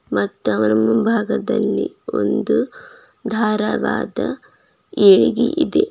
ಮತ್ ಅವರ ಮುಂಭಾಗದಲ್ಲಿ ಒಂದು ದಾರವಾದ ಏಳಗಿ ಇದೆ.